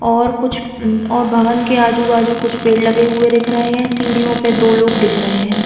और कुछ अ भवन के आजू बाजू कुछ पेड़ लगे हुए दिख रहे है। सीढ़ियों पे दो लोग दिख रहे है।